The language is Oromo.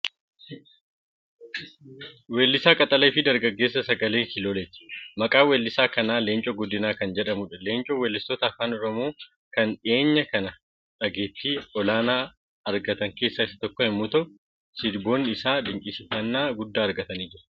Weellisaa qaxalee fi dargaggeessa sagaleen kiilooleeti. Maqaan weellisaa kanaa Leencoo Guddinaa kan jedhamudha. Leencoon weellistoota Afaan Oromoo kqn dhiyeenya kana dhageettii olaanaa afgatan keessaa isa tokko yommuu ta'u, sirboonni isaa dinqisiifannaa guddaa argataniiru.